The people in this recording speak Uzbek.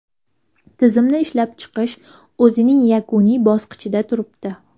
Tizimni ishlab chiqish o‘zining yakuniy bosqichida turibdi.